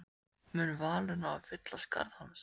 Mun Valur ná að fylla skarð hans?